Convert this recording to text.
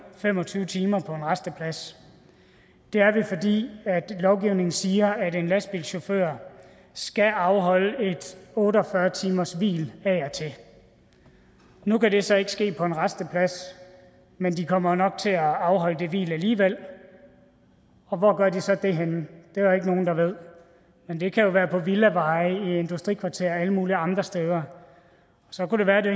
fem og tyve timer på en rasteplads det er vi fordi lovgivningen siger at en lastbilchauffør skal afholde et otte og fyrre timershvil af og til nu kan det så ikke ske på en rasteplads men de kommer jo nok til at afholde det hvil alligevel og hvor gør de så det henne det er der ikke nogen der ved men det kan jo være på villaveje i industrikvarterer og alle mulige andre steder så kunne det være det